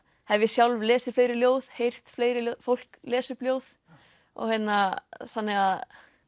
hef ég sjálf lesið fleiri ljóð heyrt fleira fólk lesa upp ljóð þannig að